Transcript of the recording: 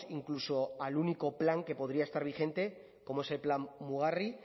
incluso al único plan que podría estar vigente como es el plan mugarri